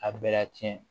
A bɛ ka tiɲɛ